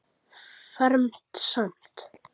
Fermt samt.